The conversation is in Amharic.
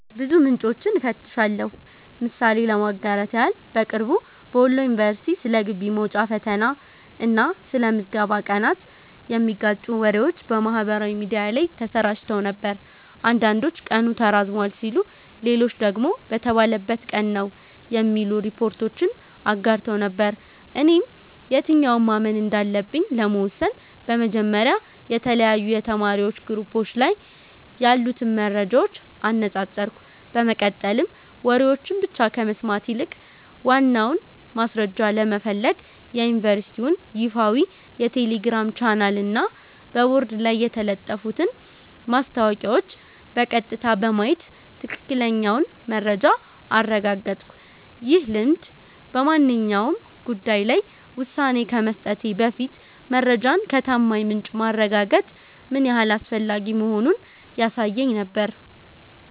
ብዙ ምንጮችን እፈትሻለሁ። ምሳሌ ለማጋራት ያህል፦ በቅርቡ በወሎ ዩኒቨርሲቲ ስለ ግቢ መውጫ ፈተና እና ስለ ምዝገባ ቀናት የሚጋጩ ወሬዎች በማህበራዊ ሚዲያ ላይ ተሰራጭተው ነበር። አንዳንዶች ቀኑ ተራዝሟል ሲሉ፣ ሌሎች ደግሞ በተባለበት ቀን ነው የሚሉ ሪፖርቶችን አጋርተው ነበር። እኔም የትኛውን ማመን እንዳለብኝ ለመወሰን በመጀመሪያ የተለያዩ የተማሪዎች ግሩፖች ላይ ያሉትን መረጃዎች አነጻጸርኩ፤ በመቀጠልም ወሬዎችን ብቻ ከመስማት ይልቅ ዋናውን ማስረጃ ለመፈለግ የዩኒቨርሲቲውን ይፋዊ የቴሌግራም ቻናልና በቦርድ ላይ የተለጠፉትን ማስታወቂያዎች በቀጥታ በማየት ትክክለኛውን መረጃ አረጋገጥኩ። ይህ ልምድ በማንኛውም ጉዳይ ላይ ውሳኔ ከመስጠቴ በፊት መረጃን ከታማኝ ምንጭ ማረጋገጥ ምን ያህል አስፈላጊ መሆኑን ያሳየኝ ነበር።